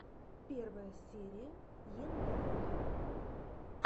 первая серия ендайм